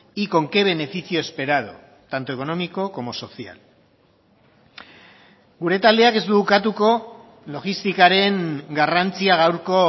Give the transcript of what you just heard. y con qué beneficio esperado tanto económico como social gure taldeak ez du ukatuko logistikaren garrantzia gaurko